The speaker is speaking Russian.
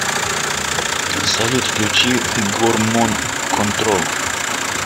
салют включи гормон контрол